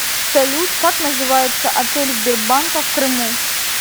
салют как называется отель сбербанка в крыму